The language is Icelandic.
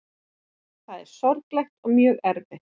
Þetta er sorglegt og mjög erfitt